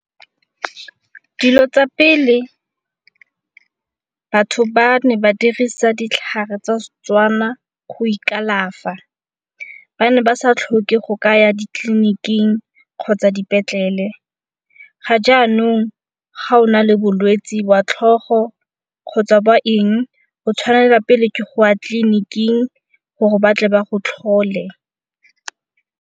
Dilo tsa pele batho ba ne ba dirisa ditlhare tsa Setswana go ikalafa. Ba ne ba sa tlhoke go ka ya ditleliniking kgotsa dipetlele, ga jaanong ga o na le bolwetsi jwa tlhogo kgotsa ba eng o tshwanela pele ke go ya tleliniking gore batle ba go tlhole.